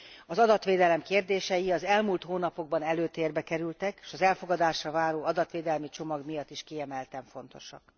Az adatvédelem kérdései az elmúlt hónapokban előtértbe kerültek, és az elfogadásra váró adatvédelmi csomag miatt is kiemelten fontosak.